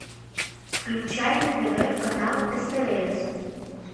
включай на тв канал стс